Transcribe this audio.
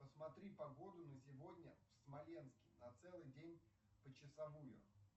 посмтри погоду на сегодня в смоленске на целый день почасовую